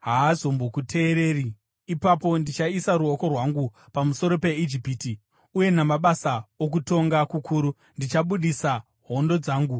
haazombokuteereri. Ipapo ndichaisa ruoko rwangu pamusoro peIjipiti uye namabasa okutonga kukuru ndichabudisa hondo dzangu,